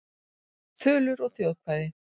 Þulur og þjóðkvæði.